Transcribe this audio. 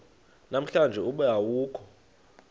namhlanje ube awukho